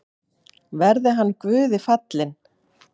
Verði hann Guði falinn.